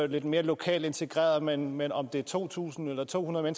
lidt mere lokalt integreret men men om det er to tusind eller to hundrede